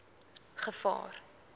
gevaar